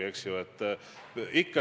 Parteilised olid ka teie näited.